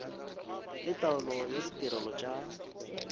le taolo ya ditirelo tša